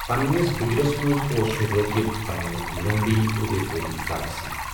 پننِس بُجرس منٛز، اوس سُہ رٲغِب پننہٕ لونڈی، ادے پوری بائی سۭتۍ۔